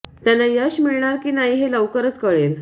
त्यांना यश मिळणार की नाही हे लवकरच कळेल